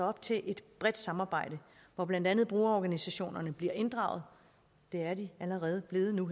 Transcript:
op til et bredt samarbejde hvor blandt andet brugerorganisationerne bliver inddraget det er de allerede blevet nu